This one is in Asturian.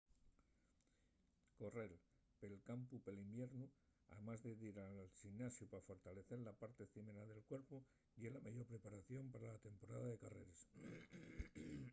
correr pel campu pel iviernu amás de dir al ximnasiu pa fortalecer la parte cimera del cuerpu ye la meyor preparación pa la temporada de carreres